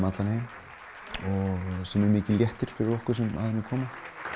allan heim sem er mikill léttir fyrir okkur sem að henni komum